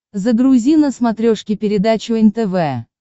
загрузи на смотрешке передачу нтв